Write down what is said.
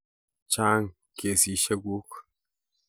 Chang kasisheck kuk